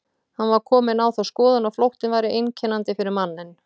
Hann var kominn á þá skoðun að flóttinn væri einkennandi fyrir manninn.